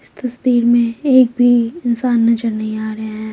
इस तस्वीर में एक भी इंसान नजर नहीं आ रहा है।